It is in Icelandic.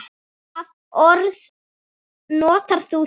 Hvaða orð notar þú þá?